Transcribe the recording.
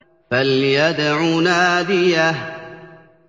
فَلْيَدْعُ نَادِيَهُ